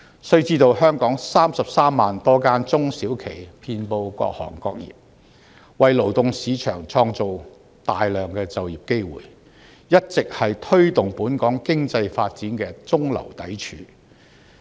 須知道，香港有33萬多間中小企遍及各行各業，為勞動市場創造大量就業機會，一直是推動本港經濟發展的中流砥柱。